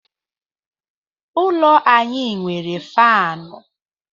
Ụlọ anyị nwere faanụ.